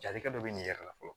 Jalikɛ dɔ bɛ nin yɛrɛ la fɔlɔ